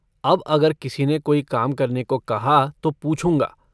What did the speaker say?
अब अगर किसी ने कोई काम करने को कहा तो पूछूँगा।